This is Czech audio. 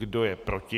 Kdo je proti?